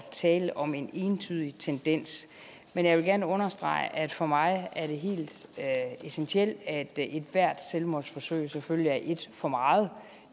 tale om en entydig tendens men jeg vil gerne understrege at for mig er det helt essentielt at ethvert selvmordsforsøg selvfølgelig er et for meget